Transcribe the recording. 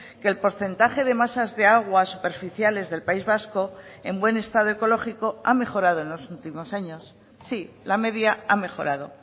que el porcentaje de masas de aguas superficiales del país vasco en buen estado ecológico ha mejorado en los últimos años sí la media ha mejorado